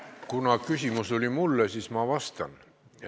Kuna küsimus oli mulle, siis ma vastan.